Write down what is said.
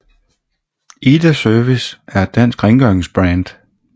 IDA Service er et dansk rengøringsbrand